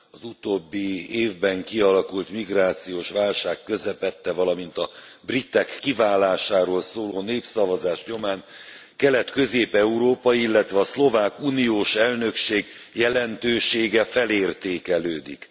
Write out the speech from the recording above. Az utóbbi évben kialakult migrációs válság közepette, valamint a britek kiválásáról szóló népszavazás nyomán Kelet Közép Európa, illetve a szlovák uniós elnökség jelentősége felértékelődik.